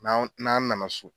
N'anw n'an nana so